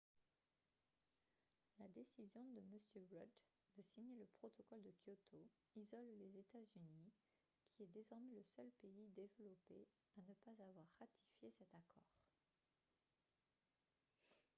la décision de m rudd de signer le protocole de kyoto isole les états-unis qui est désormais le seul pays développé à ne pas avoir ratifié cet accord